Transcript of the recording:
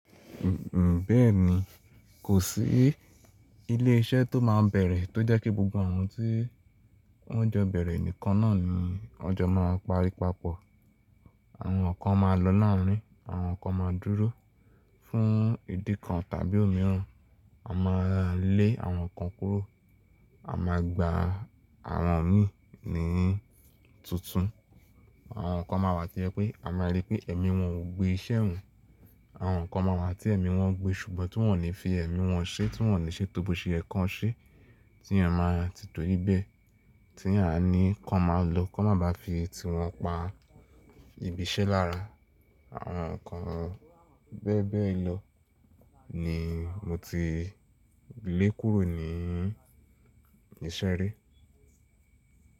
Mh, bẹ́ẹ̀ni, kò sí ilé iṣẹ́ tó máa bẹ̀rẹ̀ tó jẹ́ kí gbogbo àwọn tí wọ́n jọ bẹ̀rẹ̀ nìkan náà ni wọ́n jọ máa pari papọ̀. Àwọn kan máa lọ láàárín, àwọn kan máa dúró fún ìdí kan tàbí òmíràn. A máa lé àwọn kan kúrò, a máa gbà àwọn mí ní tuntun, àwọn kan máa wà tí ẹ pé a máa rí pé ẹ̀mí wọn ò gbé iṣẹ́ hù, àwọn kan máa wà tí ẹ̀mí wọn gbé ṣùgbọ́n tí wọ́n ò ní fi ẹ̀mí wọn ṣe, tí wọ́n ò ní ṣe tóboṣe ẹ̀ kan ṣe, tí ẹ máa ti tó ri bẹ̀ tí àní kan máa lọ, kó má ba fi ti wọn pa ibi iṣẹ́ lára. Àwọn nǹkan bẹ́ẹ̀ bẹ́ẹ̀ lọ ni mo ti lé kúrò ní iṣẹ́ rí.